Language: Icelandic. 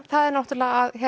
það er náttúrulega að